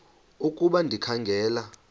ukuba ndikha ngela